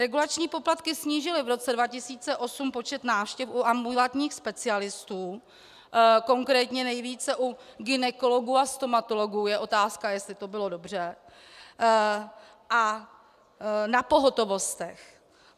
Regulační poplatky snížily v roce 2008 počet návštěv u ambulantních specialistů, konkrétně nejvíce u gynekologů a stomatologů - je otázka, jestli to bylo dobře - a na pohotovostech.